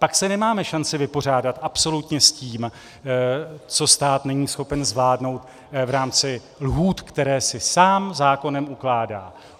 Pak se nemáme šanci vypořádat absolutně s tím, co stát není schopen zvládnout v rámci lhůt, které si sám zákonem ukládá.